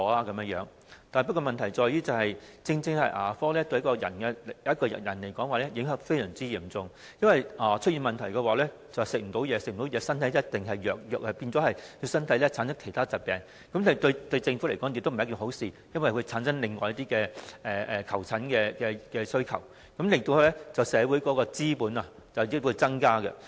然而，問題在於牙齒對一個人的影響非常嚴重，若出現了問題，便難以進食，之後身體一定會變得虛弱，繼而產生其他疾病，對政府而言並非一件好事，因為會產生另外一些求診需求，導致社會成本日益增加。